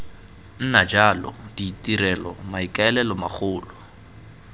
nna jalo ditirelo maikaelelo magolo